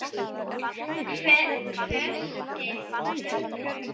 hvæsti Hugrún.